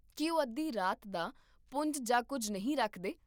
ਕੀ ਉਹ ਅੱਧੀ ਰਾਤ ਦਾ ਪੁੰਜ ਜਾਂ ਕੁੱਝ ਨਹੀਂ ਰੱਖਦੇ?